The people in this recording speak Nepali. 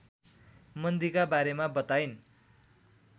मन्दीका बारेमा बताइन्